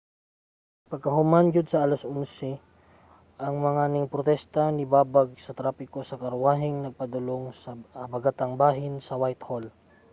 pagkahuman gyud sa 11:00 ang mga ningprotesta nibabag sa trapiko sa karwaheng nagpadulong sa habagatang bahin sa whitehall